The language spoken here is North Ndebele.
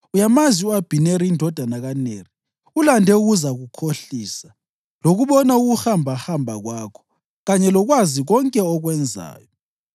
Uyamazi u-Abhineri indodana kaNeri; ulande ukuzakukhohlisa lokubona ukuhambahamba kwakho kanye lokwazi konke okwenzayo.”